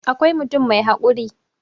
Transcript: akwai mutum mai haƙuri